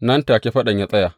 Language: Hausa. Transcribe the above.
Nan take faɗan ya tsaya.